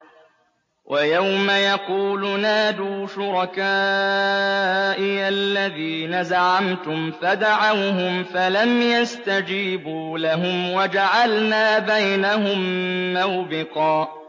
وَيَوْمَ يَقُولُ نَادُوا شُرَكَائِيَ الَّذِينَ زَعَمْتُمْ فَدَعَوْهُمْ فَلَمْ يَسْتَجِيبُوا لَهُمْ وَجَعَلْنَا بَيْنَهُم مَّوْبِقًا